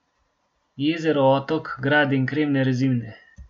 Jezero, otok, grad in kremne rezine.